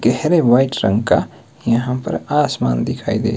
गहरे वाइट रंग का यहां पर आसमान दिखाई दे--